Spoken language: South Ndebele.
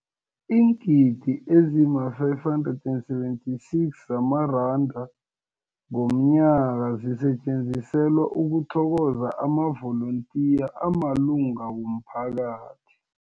Iingidi ezima-576 zamaranda ngomnyaka zisetjenziselwa ukuthokoza amavolontiya amalunga womphakathi.